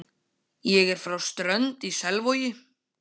Ég er frá Strönd í Selvogi.